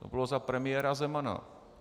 To bylo za premiéra Zemana.